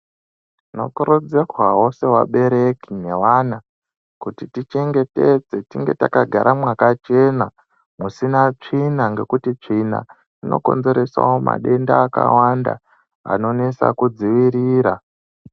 Tinokurudzirwao sevabereki neavana kuti tichengetedze tinge takagara mwakachena musina tsvina nekuti tsvina inokonzeresao madenda akawanda anonesa kudzivirira.